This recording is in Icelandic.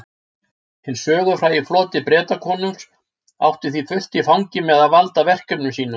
Hinn sögufrægi floti Bretakonungs átti því fullt í fangi með að valda verkefnum sínum.